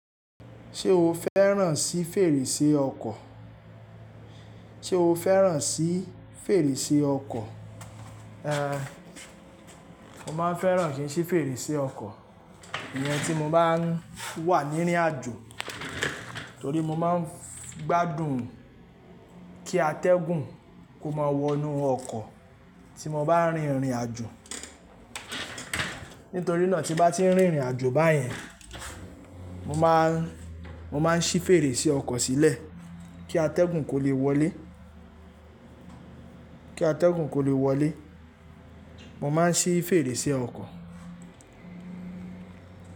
Ṣé o fẹ́ràn sí fèrèsé ọkọ̀? Ṣé o fẹ́ràn sí fèrèsé ọkọ̀? Ehn, mo máa ń fẹ́ràn síí fèrèsé ọkọ̀ ìyẹn tí mo bá ń wà ní rìnrìn àjò torí mo máa ń gbádùn kí atẹ́gùn kó máa wọnú ọkọ̀ tí mo bá ń rìnrìn àjò. Nítorí náà tí bá ti ń rìnrìn àjò báyẹn, mo máa ń, mo máa ń ṣí fèrèsé ọkọ̀ sílẹ̀ kí atẹ́gùn kó lè wọlé, kí atẹ́gùn kó lè wọlé. Mo máa ń ṣí fèrèsé ọkọ̀.